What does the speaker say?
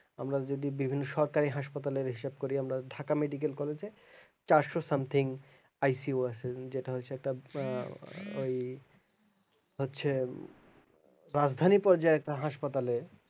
আমরা যদি বিভিন্ন সরকারি হাসপাতালের হিসাব করি আমরা ঢাকা medical college এ চারশো somethingICU আছে যেটা হচ্ছে একটা ওই হচ্ছে রাজধানী পর্যায়ে একটা হাসপাতালে